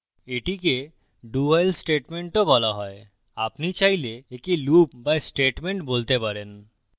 এটিকে dowhile statement do বলা you আপনি চাইলে একে loop বা statement বলতে পারেন